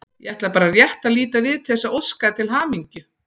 Ég ætlaði bara rétt að líta við til þess að óska þér til hamingju.